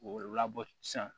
K'o labɔ sisan